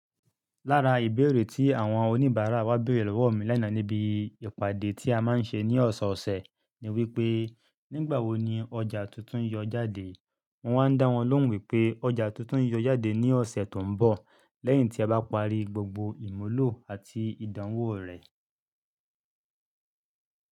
Lára ìbéèrè tí àwọn oníbàárà wa béèrè lọ́wọ́ mi lánàá níbi ìpàdé tí a máa ń ṣe ní ọ̀sọ̀ọ̀sẹ̀ ni wípé, "Nígbàwo ni ọjà tuntun yọ jáde?" Mo máa ń dá wọn lóhùn wípé ọjà tuntun yọ jáde ní ọ̀sẹ̀ tó ń bọ̀, lẹ́yìn tí a bá parí gbogbo ìmúlò àti ìdánwò rẹ̀.